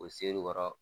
O seri kɔrɔ